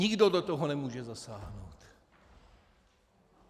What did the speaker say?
Nikdo do toho nemůže zasáhnout.